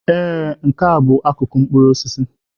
Ee, Nke a bụ akụkụ mkpụrụ osisi.